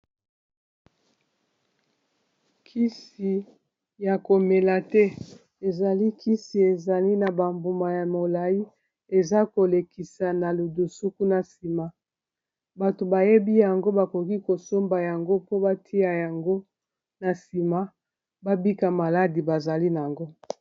Kisi ya komela te ezali kisi ezali na ba mbuma ya molayi eza kolekisa na ludusu kuna na nsima bato bayebi yango bakoki kosomba yango mpo batia yango na nsima babika maladi bazali na yango.